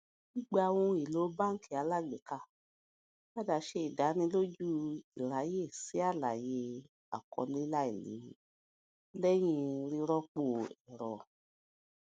gbígba ohun èlò bánkì alágbèéká padà ṣe ìdánilójú ìráyè sí àlàyé àkọọlẹ láìléwu lẹhin rírọpò ẹrọ